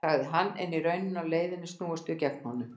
sagði hann, er í rauninni á leiðinni snúumst við gegn honum